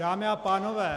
Dámy a pánové -